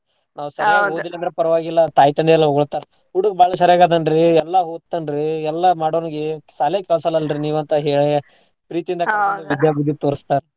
ನಾವ್ ಸರಿಯಾಗ್ ಓದ್ಲಿಲ್ಲ ಅಂದ್ರು ಪರ್ವಾಗಿಲ್ಲ ತಾಯ್ ತಂದೆ ಎಲ್ಲಾ ಹೊಗಳ್ತಾರ ಹುಡುಗ್ ಬಾಳ್ ಸರಿಯಾಗ್ ಅದಾನ್ ರೀ ಎಲ್ಲಾ ಓದ್ತಾನ್ ರೀ ಎಲ್ಲಾ ಮಾಡೋರ್ಗೆ ಶಾಲೆಗ್ ಕಳ್ಸಲ್ಲಲ್ರೀ ನೀವು ಅಂತ್ ಹೇಳಿ ಪ್ರೀತಿ ಇಂದ ವಿದ್ಯಾ ಬುದ್ದಿ ತೋರ್ಸ್ತಾರ್.